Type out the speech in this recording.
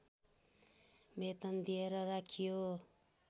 वेतन दिएर राखियो